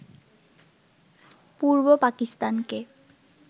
পূর্ব পাকিস্তানকে